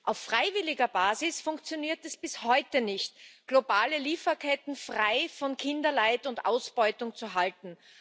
Auf freiwilliger Basis funktioniert es bis heute nicht, globale Lieferketten frei von Kinderleid und Ausbeutung zu halten.